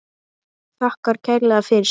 Þakkar kærlega fyrir sig.